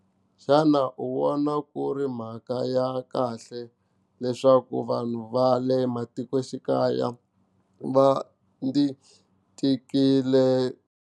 Xana u vona ku ri mhaka ya kahle leswaku vanhu va le matikoxikaya va ndzi tikile.